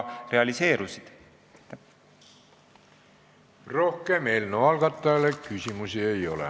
Rohkem eelnõu algatajale küsimusi ei ole.